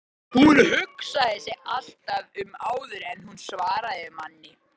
Hún hugsaði sig alltaf um áður en hún svaraði manni.